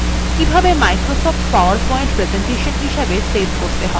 কিভাবে micro soft powerpoint presentation save করতে হয়